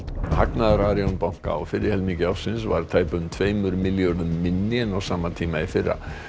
hagnaður Arion banka á fyrri helmingi ársins var tæpum tveimur milljörðum minni en á sama tíma í fyrra